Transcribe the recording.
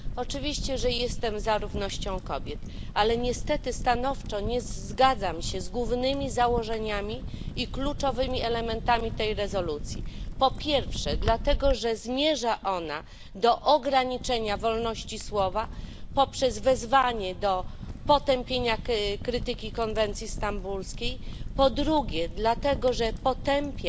Oczywiście, że jestem za równością kobiet, ale niestety stanowczo nie zgadzam się z głównymi założeniami i kluczowymi elementami tej rezolucji, po pierwsze, dlatego że zmierza ona do ograniczenia wolności słowa poprzez wezwanie do potępienia krytyki konwencji stambulskiej, po drugie, dlatego że potępia